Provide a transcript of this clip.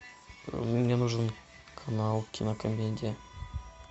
мне нужен канал кинокомедия